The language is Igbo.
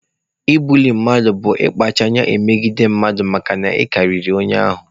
Ibuli mmadụ bụ ịkpacha anya megide mmadụ makana ị karịrị onye ahụ.